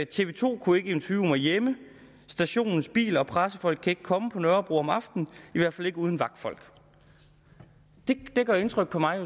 tv to kunne ikke interviewe mig hjemme stationens biler og pressefolk kan ikke komme på nørrebro om aftenen i hvert fald ikke uden vagtfolk det gør indtryk på mig og